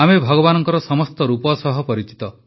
ଆମେ ଭାଗବାନଙ୍କ ସମସ୍ତ ରୂପ ସହ ପରିଚିତ